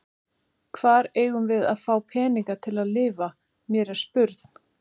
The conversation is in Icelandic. Hvar eigum við að fá peninga til að lifa, mér er spurn.